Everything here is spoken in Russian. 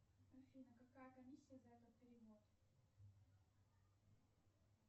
афина какая комиссия за этот перевод